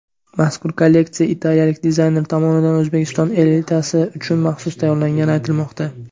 Mazkur kolleksiya italiyalik dizayner tomonidan O‘zbekiston elitasi uchun maxsus tayyorlangani aytilmoqda.